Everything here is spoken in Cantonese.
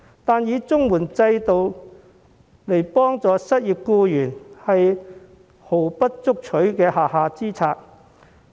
可是，以綜援制度幫助失業僱員，其實是毫不足取的下下之策。